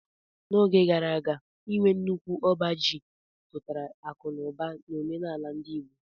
N'oge gara aga, inwe nnukwu ọba ji pụtara akụ na ụba n'omenala ndi Igbo